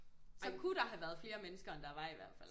Så kunne der have været flere mennesker end der var i hvert fald